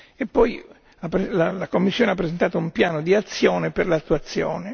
e poi la Commissione ha presentato un piano d'azione per l'attuazione.